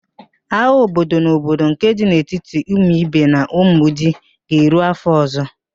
Agha obodo na obodo nke dị n'etiti Umuibe na Umudi ga-eru afọ ọzọ